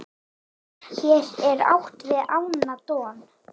hér er átt við ána don